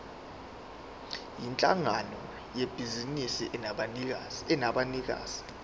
yinhlangano yebhizinisi enabanikazi